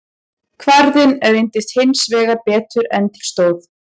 Kvarðinn reyndist hins vegar betur en til stóð.